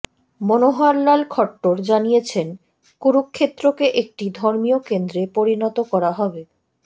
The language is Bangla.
মনোহরলাল খট্টর জানিয়েছেন কুরুক্ষেত্রকে একটি ধর্মীয় কেন্দ্রে পরিণত করা হবে